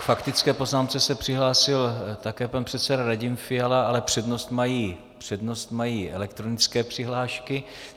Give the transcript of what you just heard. K faktické poznámce se přihlásil také pan předseda Radim Fiala, ale přednost mají elektronické přihlášky.